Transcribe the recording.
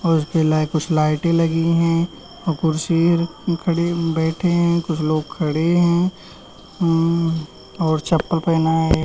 और कुछ लाइटे लगी हैं और कुर्सी खड़े बैठे हैं। कुछ लोग खड़े हैं। उम और चप्पल पहना है।